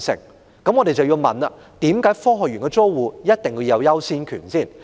那麼，我們便要問：科學園的租戶為何有優先權？